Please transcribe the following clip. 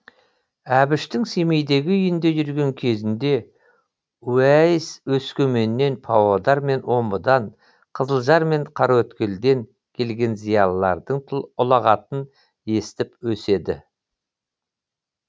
әбіштің семейдегі үйінде жүрген кезінде уәйіс өскеменнен павлодар мен омбыдан қызылжар мен қараөткелден келген зиялылардың ұлағатын естіп өседі